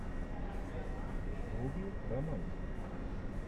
вруби романтик